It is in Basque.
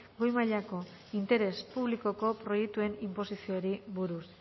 goi mailako interes publikoko proiektuen inposizioari buruz